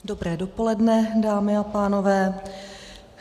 Dobré dopoledne, dámy a pánové.